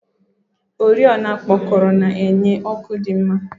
oriọna okpokoro na-enye ọkụ dị mma.